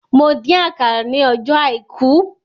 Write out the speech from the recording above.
Mo dín àkàrà ní ọjọ́ àìkú